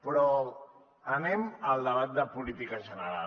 però anem al debat de política general